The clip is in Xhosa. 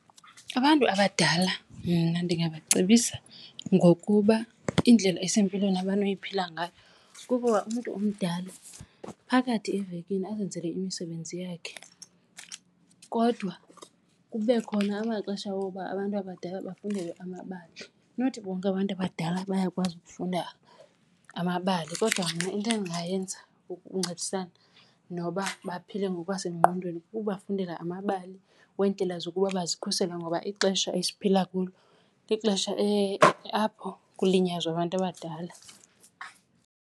Abantu abadala mna ndingabacebisa ngokuba indlela esempilweni abayinophila ngayo kukuba umntu omdala phakathi evekini azenzele imisebenzi yakhe kodwa kube khona amaxesha woba abantu abadala bafundelwe amabali. Not bonke abantu abadala bayakwazi ukufunda amabali kodwa mna into endingayenza ukuncedisana noba baphile ngokwasengqondweni kukubafundela amabali weendlela zokuba bazikhusele, ngoba ixesha esiphila kulo lixesha apho kulinyazwa abantu abadala.